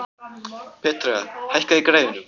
Petrea, hækkaðu í græjunum.